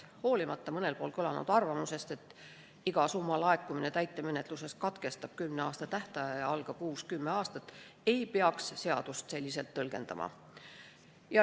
Ja hoolimata mõnel pool kõlanud arvamusest, et iga summa laekumine täitemenetluses katkestab kümneaastase tähtaja ja algab uus kümneaastane tähtaeg, ei tohiks seadust selliselt tõlgendada.